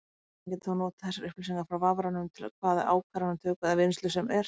Vefþjónninn getur þá notað þessar upplýsingar frá vafranum til hvaða ákvarðanatöku eða vinnslu sem er.